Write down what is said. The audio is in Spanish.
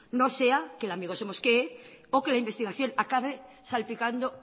no sea que el amigo se mosquee o que la investigación acabe salpicando